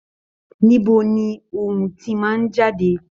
Níbo ni ohùn tí màá n jáde?